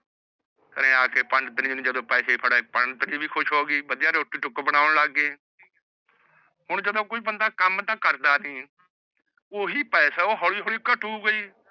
ਘਰੇ ਆਕੇ ਪੰਡਤਨੀ ਨੇ ਜਦੋ ਪੈਸੇ ਫੜੇ ਪੰਡਤਨੀ ਵੀ ਖੁਸ਼ ਹੋ ਗਈ ਵਧੀਆ ਰੋਟੀ ਟੁੱਕ ਬਣੋਨ ਲਗ ਗਈ ਹੁਣ ਜਦੋ ਕੋਈ ਬੰਦਾ ਕਮ ਤਾ ਕਰਦਾ ਨਹੀਂ ਓਹੀ ਪੈਸਾ ਓਹ ਹੋਲੀ ਹੋਲੀ ਘਟੁਗਾ ਹੀ